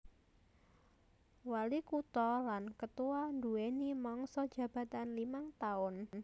Walikutha lan ketua nduwèni mangsa jabatan limang taun